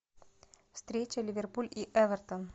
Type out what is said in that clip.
встреча ливерпуль и эвертон